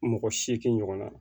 Mɔgɔ seegin ɲɔgɔn na